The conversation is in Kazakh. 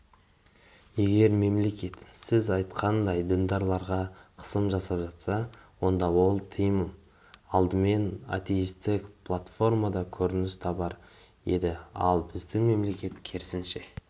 егер мемлекет сіз айтқандай діндарларға қысым жасап жатса онда ол тыйым алдымен атеистік платформада көрініс табар еді ал біздің мемлекет керісінше